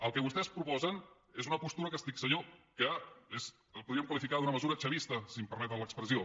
el que vostès proposen és una postura que estic segur que la podríem qualificar d’una mesura chavista si em permeten l’expressió